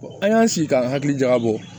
an y'an sigi k'an hakili jagabɔ